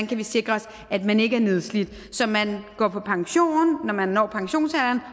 kan sikre at man ikke er nedslidt så man går på pension når man når pensionsalderen